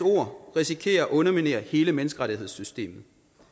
ord risikerer at underminere hele menneskerettighedssystemet